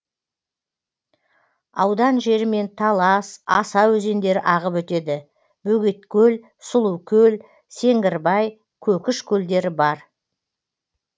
аудан жерімен талас аса өзендері ағып өтеді бөгеткөл сұлукөл сеңгірбай көкіш көлдері бар